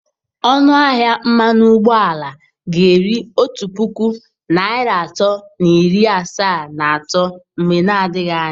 Ọnụ ahịa mmanụ ụgbọala ga-eru otu puku naịra atọ na iri asaa na atọ mgbe na adịghị anya.